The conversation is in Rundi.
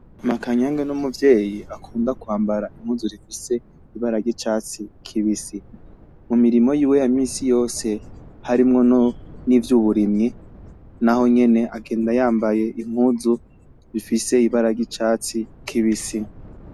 Makanyage ni umuvyeyi akunda kwambara impuzu zifise ibara ry’icatsi kibisi. Mu mirimo yiwe ya minsi yose harimwo n’ivy’uburimyi, na ho nyene agenda yambaye impuzu zifise ibara ry’icatsi kibisi.